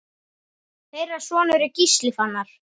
Þeirra sonur er Gísli Fannar.